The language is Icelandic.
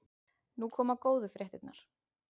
Nú koma góðu fréttirnar.